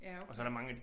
Ja okay